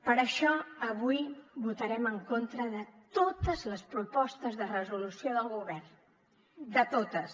per això avui votarem en contra de totes les propostes de resolució del govern de totes